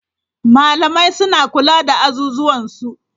Malamai suna kula da azuzuwan su.